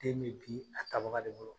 Den me bii a tabaga de bolo.